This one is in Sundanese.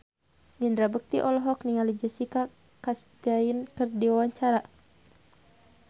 Indra Bekti olohok ningali Jessica Chastain keur diwawancara